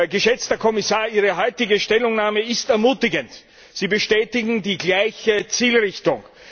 Geschätzter Herr Kommissar, Ihre heute Stellungnahme ist ermutigend. Sie bestätigen die gleiche Zielrichtung.